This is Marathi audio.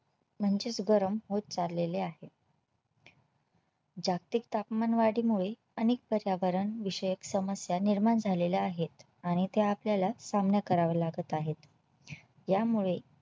म्हणजेच गरम होत चाललेले आहेत. जागतिक तापमानवाढी मुळे अनेक पर्यावरण विषयक समस्या निर्माण झालेल्या आहेत आणि ते आपल्याला सामना करावा लागत